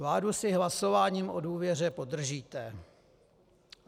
Vládu si hlasováním o důvěře podržíte.